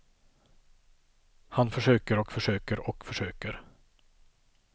Han försöker och försöker och försöker.